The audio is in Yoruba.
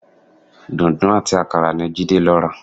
Dùǹdú àti àkàrà ni Jídé lọ rà